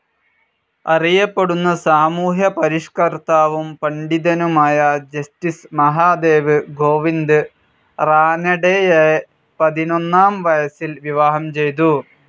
അറിയപ്പെടുന്ന സാമൂഹ്യ പരിഷ്കർത്താവും പണ്ഡിതനുമായ ജസ്റ്റിസ്‌ മഹാദേവ് ഗോവിന്ദ് റാനഡെയെ പതിനൊന്നാം വയസ്സിൽ വിവാഹം ചെയ്തു.